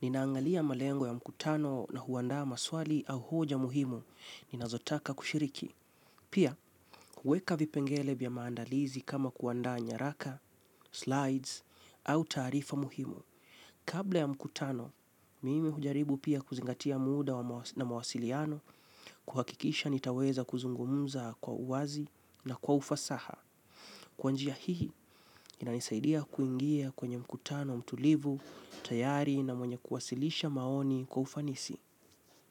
Ninaangalia malengo ya mkutano na huandaa maswali au hoja muhimu, ninazotaka kushiriki. Pia, huweka vipengele vya maandalizi kama kuandaa nyaraka, slides, au taarifa muhimu. Kabla ya mkutano, mimi hujaribu pia kuzingatia muda na mawasiliano, kuhakikisha nitaweza kuzungumza kwa uwazi na kwa ufasaha. Kwa njia hii, inanisaidia kuingia kwenye mkutano, mtulivu, tayari na mwenye kuwasilisha maoni kwa ufanisi.